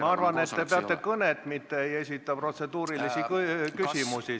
Ma arvan, et te peate kõnet, mitte ei esita protseduurilisi küsimusi.